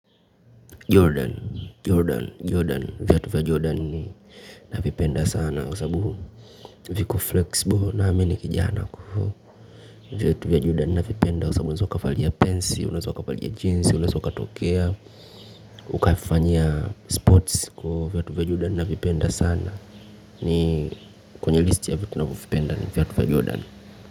Jordan Jordan Jordan. Viatu vya jordan ninavipenda sana kwa sababu viko flexible na mimi ni kijana kwa hivo viatu vya Jordan navipenda kwa sababu unaweza ukavalia pensil, unaeza ukavalia jeans, unaeza ukatokea, ukafanya sports kwaivo, viatu vya Jordan navipenda sana. Ni kwenye listi ya viatu navyovipenda ni viatu vya Jordan.